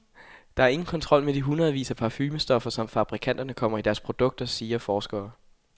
Der er ingen kontrol med de hundredvis af parfumestoffer, som fabrikanterne kommer i deres produkter, siger forsker.